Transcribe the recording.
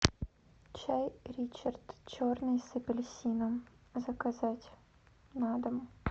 чай ричард черный с апельсином заказать на дом